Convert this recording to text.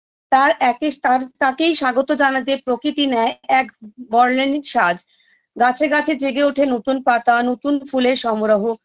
তার একই তার তাকেই স্বাগত জানাতে প্রকৃতি নেয় এক বরলেনিক সাজ গাছে গাছে জেগে ওঠে নতুন পাতা নতুন ফুলের সমারোহ